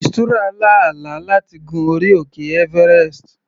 Mistura lá àlá láti gun orí òkè everest.